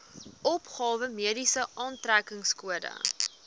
opgawe mediese aftrekkingskode